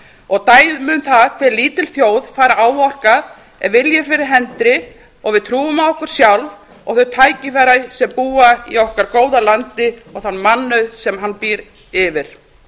og dæmi um það hvað lítil þjóð fær áorkað ef vilji er fyrir hendi og við trúum á okkur sjálf og þau tækifæri sem búa í okkar góða landi og þann mannauð sem hann býr yfir